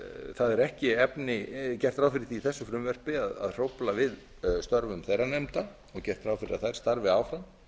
það er ekki gert ráð fyrir því í þessu frumvarpi að hrófla við störfum þeirra nefnda og gert ráð fyrir að þær starfi áfram